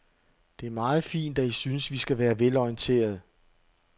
Det er meget fint, at I synes, vi skal være velorienterede.